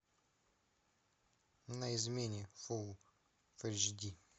на измене фулл эйч ди